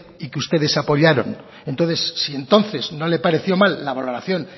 y que ustedes apoyaron entonces si entonces no le pareció mal la valoración